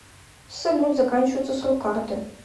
салют заканчивается срок карты